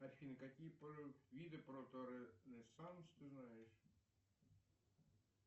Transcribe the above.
афина какие виды ты знаешь